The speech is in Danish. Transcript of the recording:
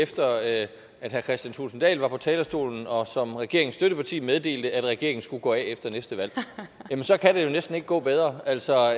efter at herre kristian thulesen dahl var på talerstolen og som regeringens støtteparti meddelte at regeringen skulle gå af efter næste valg jamen så kan det jo næsten ikke gå bedre altså